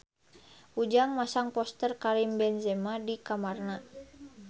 Ujang masang poster Karim Benzema di kamarna